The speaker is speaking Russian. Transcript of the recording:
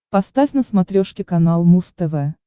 поставь на смотрешке канал муз тв